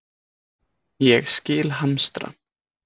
Ég skil hamstra.